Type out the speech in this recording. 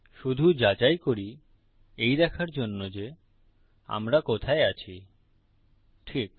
শুধু যাচাই করি এই দেখার জন্য যে আমরা কোথায় আছি ঠিক